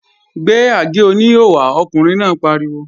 Gbé àgé-oníhò wá! Ọkùnrin náà pariwo